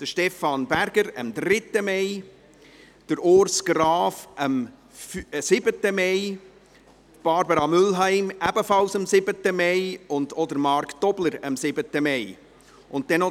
Weiter hatte Stefan Berger am 3. Mai Geburtstag, Urs Graf am 7. Mai, Barbara Mühlheim ebenfalls am 7. Mai, und auch Marc Tobler hatte am 7. Mai Geburtstag.